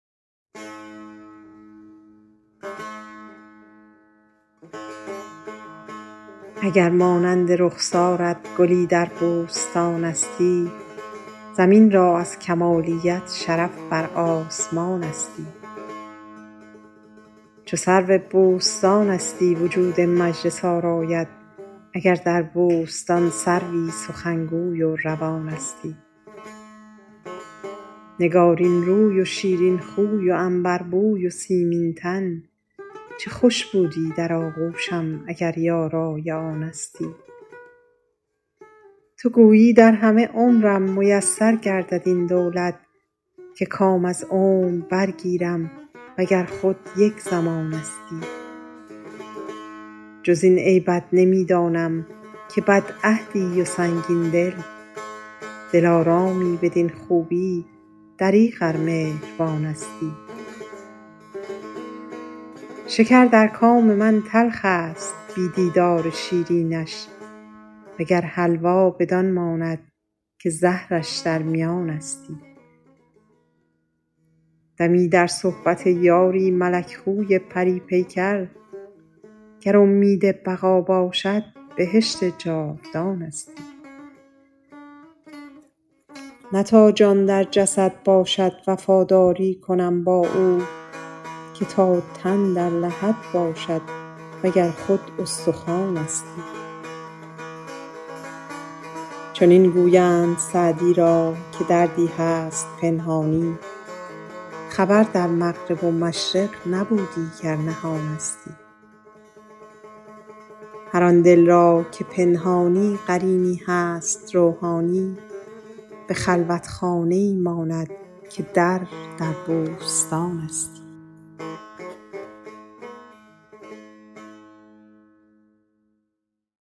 اگر مانند رخسارت گلی در بوستانستی زمین را از کمالیت شرف بر آسمانستی چو سرو بوستانستی وجود مجلس آرایت اگر در بوستان سروی سخنگوی و روانستی نگارین روی و شیرین خوی و عنبربوی و سیمین تن چه خوش بودی در آغوشم اگر یارای آنستی تو گویی در همه عمرم میسر گردد این دولت که کام از عمر برگیرم و گر خود یک زمانستی جز این عیبت نمی دانم که بدعهدی و سنگین دل دلارامی بدین خوبی دریغ ار مهربانستی شکر در کام من تلخ است بی دیدار شیرینش و گر حلوا بدان ماند که زهرش در میانستی دمی در صحبت یاری ملک خوی پری پیکر گر امید بقا باشد بهشت جاودانستی نه تا جان در جسد باشد وفاداری کنم با او که تا تن در لحد باشد و گر خود استخوانستی چنین گویند سعدی را که دردی هست پنهانی خبر در مغرب و مشرق نبودی گر نهانستی هر آن دل را که پنهانی قرینی هست روحانی به خلوتخانه ای ماند که در در بوستانستی